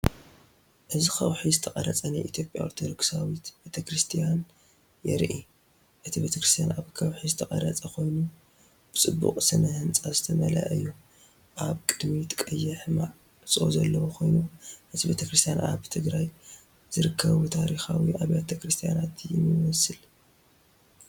እዚ ከውሒ ዝተቐርጸ ናይ ኢትዮጵያ ኦርቶዶክሳዊት ቤተክርስትያን የርኢ። እቲ ቤተክርስትያን ኣብ ከውሒ ዝተቐርጸ ኮይኑ ብጽባቐ ስነ ህንጻ ዝተመልአ እዩ። ኣብ ቅድሚት ቀይሕ ማዕጾ ዘለዎ ኮይኑ። እዚ ቤተ ክርስቲያን ኣብ ትግራይ ዝርከቡ ታሪኻዊ ኣብያተ ክርስቲያናት ይመስል።